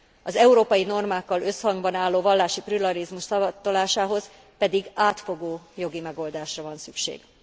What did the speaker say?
Az európai normákkal összhangban álló vallási pluralizmus szavatolásához pedig átfogó jogi megoldásra van szükség.